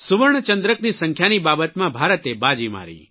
સુવર્ણચંદ્રકની સંખ્યાની બાબતમાં ભારતે બાજી મારી